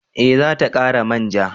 Eh za ta kara manja